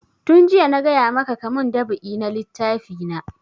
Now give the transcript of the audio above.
Tun jiya na gaya maka ka mun dab'i na littafi na!